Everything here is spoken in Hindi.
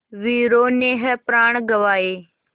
वीरों ने है प्राण गँवाए